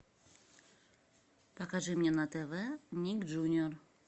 покажи мне на тв ник джуниор